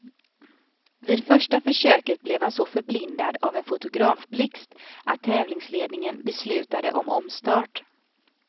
Vid första försöket blev han så förblindad av en fotografblixt att tävlingsledningen beslutade om omstart.